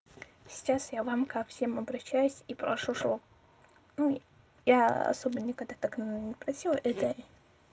сейчас я вам ко всем обращаюсь и прошу чтоб ну я особо никогда так не просила это